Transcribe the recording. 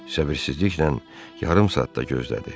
Səbirsizliklə yarım saat da gözlədi.